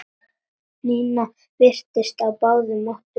Nína virtist á báðum áttum.